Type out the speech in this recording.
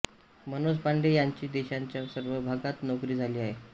मनोज पांडे यांची देशाच्या सर्व भागांत नोकरी झाली आहे